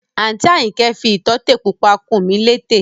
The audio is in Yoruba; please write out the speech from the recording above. Àǹtí Àyìnkẹ́ fi ìtótè pupa kùn mí létè